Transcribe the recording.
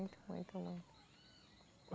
Muito, muito, muito.